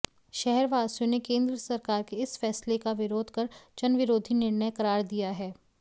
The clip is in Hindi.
शहरवासियों ने केंद्र सरकार के इस फैसले का विरोध कर जनविरोधी निर्णय करार दिया है